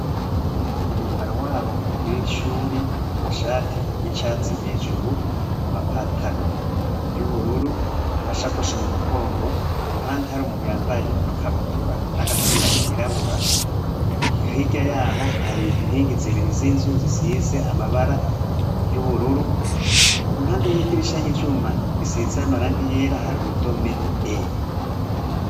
Mu mwambaro wabo w'icuri amashati y'icatsi hejuru amapataro y'ubururu amashakoshi mu mugongo ku ruhande hari umuntu yambaye ikabutura n'agapira kirabura ihirya yaho hari nkingi zibiri z'inzu zisize amabara y'ubururu impande yita iraisha y'ivyuma isitsaya amaranga yera hari urudome e.